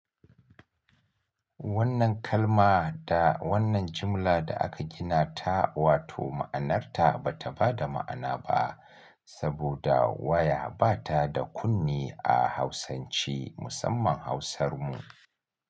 Wannan kalma da wannan jimla da aka gina ta, wato ma'anarta ba ta ba da ma'ana ba saboda waya ba ta da kunne a Hausanci, musamman Hausar mu.